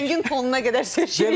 Biz rəngin tonuna qədər seçirik.